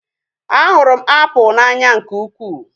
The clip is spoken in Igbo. A hụrụ m apụl n'anya nke ukwuu